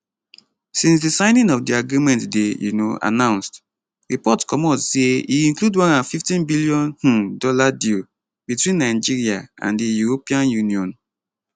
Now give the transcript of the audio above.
since di signing of di agreement dey um announced report comot say e include 150 billion um dollar deal between nigeria and di european union